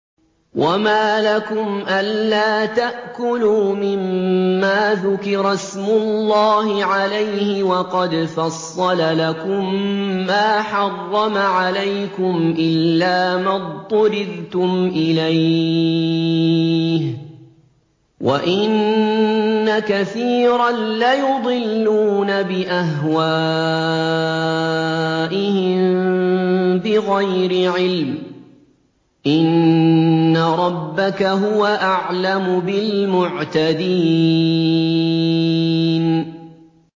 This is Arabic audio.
وَمَا لَكُمْ أَلَّا تَأْكُلُوا مِمَّا ذُكِرَ اسْمُ اللَّهِ عَلَيْهِ وَقَدْ فَصَّلَ لَكُم مَّا حَرَّمَ عَلَيْكُمْ إِلَّا مَا اضْطُرِرْتُمْ إِلَيْهِ ۗ وَإِنَّ كَثِيرًا لَّيُضِلُّونَ بِأَهْوَائِهِم بِغَيْرِ عِلْمٍ ۗ إِنَّ رَبَّكَ هُوَ أَعْلَمُ بِالْمُعْتَدِينَ